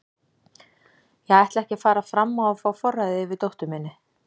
Ég ætla ekki að fara fram á að fá forræðið yfir dóttur minni.